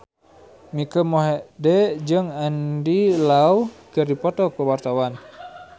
Mike Mohede jeung Andy Lau keur dipoto ku wartawan